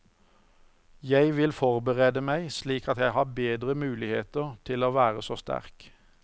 Jeg vil forberede meg slik at jeg har bedre muligheter til å være så sterk.